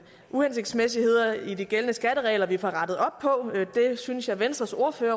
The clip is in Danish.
uhensigtsmæssigheder i de gældende skatteregler vi får rettet op på det synes jeg venstres ordfører